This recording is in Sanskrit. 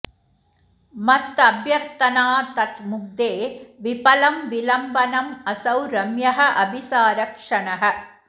मत् अभ्यर्थना तत् मुग्धे विफलम् विलम्बनम् असौ रम्यः अभिसार क्षणः